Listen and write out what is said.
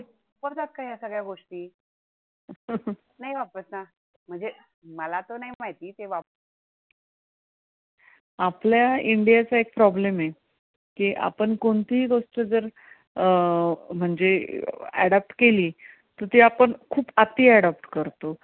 आपल्या इंडियाचा एक problem आहे. किआपण कोणतेही गोष्ट जर अं म्हणजे adopt केली, ती आपण खूप अति adopt करतो.